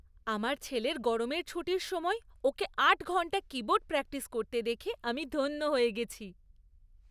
আমার ছেলের গরমের ছুটির সময় ওকে আট ঘণ্টা কীবোর্ড প্র্যাকটিস করতে দেখে আমি ধন্য হয়ে গেছি।